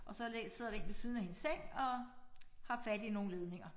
Og så sidder der én ved siden af hendes seng og har fat i nogle ledninger